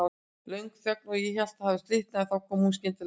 Löng þögn og ég hélt það hefði slitnað, en þá kom hún skyndilega aftur.